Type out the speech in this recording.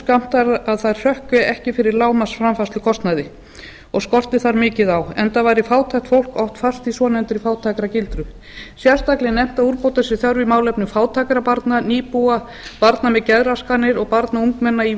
skammtaðar að þær hrökkvi ekki fyrir lágmarksframfærslukostnaði og skorti þar mikið á enda væri fátækt fólk oft fast í svonefndri fátæktargildru sérstaklega er nefnt að úrbóta sé þörf í málefnum fátækra barna nýbúa barna með geðraskanir og barna og ungmenna í